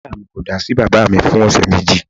Ìyá mi ko da sí baba mi fún ọ̀sẹ̀ méjì